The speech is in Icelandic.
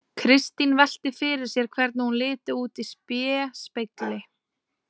Kristín velti fyrir sér hvernig hún liti út í spéspegli.